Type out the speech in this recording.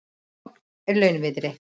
Logn er launviðri.